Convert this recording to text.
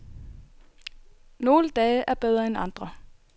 Nogle dage er bedre end andre.